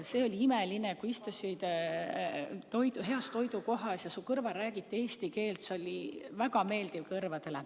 See oli imeline, kui istusid heas toidukohas ja su kõrval räägiti eesti keelt, see oli kõrvadele väga meeldiv.